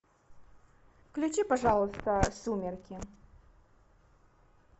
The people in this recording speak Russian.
включи пожалуйста сумерки